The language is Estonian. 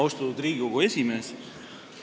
Austatud Riigikogu aseesimees!